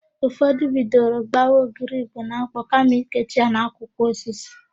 Ụfọdụ bidoro gbawa ogiri Igbo na ḿkpọ̀ kama ikechi ya n'akwụkwọ osisi.